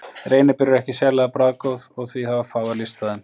Reyniber eru ekki sérlega bragðgóð og því hafa fáir lyst á þeim.